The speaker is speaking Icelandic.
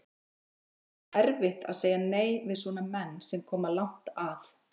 Er ekkert erfitt að segja nei við svona menn sem koma langt að?